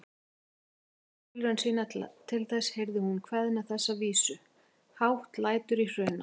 Eftir þriðju tilraun sína til þess heyrði hún kveðna þessa vísu: Hátt lætur í Hruna